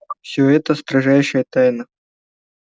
всё это строжайшая тайна